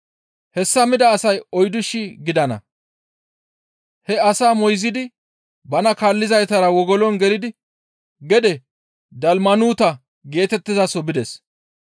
Hessa mida asay oyddu shii gidana. He asaa moyzidi bana kaallizaytara wogolon gelidi gede Dalmanuuta geetettizaso bides.